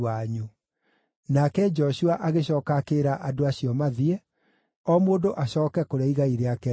Nake Joshua agĩcooka akĩĩra andũ acio mathiĩ, o mũndũ acooke kũrĩa igai rĩake rĩarĩ.